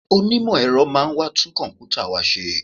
Onímọ̀ ẹ̀rọ máa wá tún kọ̀m̀pútà wa ṣe